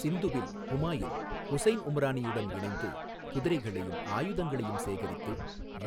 சிந்துவில் ஹுமாயூன், ஹுசைன் உம்ரானியுடன் இணைந்து, குதிரைகளையும், ஆயுதங்களையும் சேகரித்து,